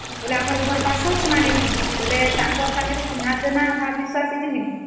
ସେ ଆମ ଘର ପାଖରେ ହିଁ ଚିନ୍ହା ଜଣା ରେ